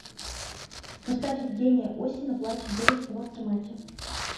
поставь евгения осина плачет девушка в автомате